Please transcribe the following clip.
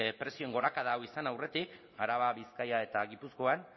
prezioen gorakada hau izan aurretik araba bizkaia eta gipuzkoan